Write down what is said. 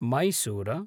Mysore